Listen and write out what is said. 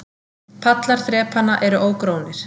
Pallar þrepanna eru ógrónir.